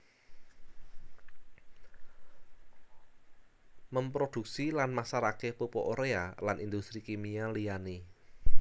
Memproduksi lan masarake pupuk urea lan industri kimia liyane